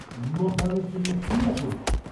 নিমকহারামের জন্য কি না করেছি!